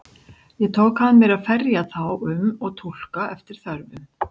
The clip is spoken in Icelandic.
Ég tók að mér að ferja þá um og túlka eftir þörfum.